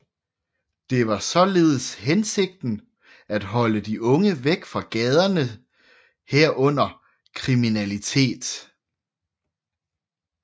Det var således hensigten at holde de unge væk fra gaderne herunder kriminalitet